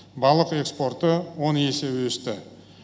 балық экспорты он есе өсті